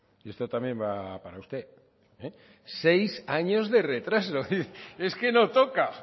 y esto también va para usted seis años de retraso es que no toca